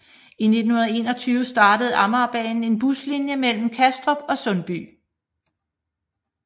I 1921 startede Amagerbanen en buslinje mellem Kastrup og Sundby